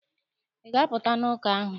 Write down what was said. Ị ga-apụta n'ụka ahụ!